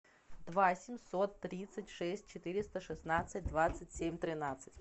два семьсот тридцать шесть четыреста шестнадцать двадцать семь тринадцать